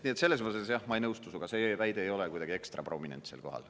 Nii et ma ei nõustu sinuga, see väide ei ole kuidagi ekstra prominentsel kohal.